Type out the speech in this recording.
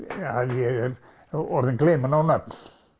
ég er orðinn gleyminn á nöfn